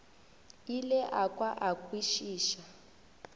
ile a kwa a kwešiša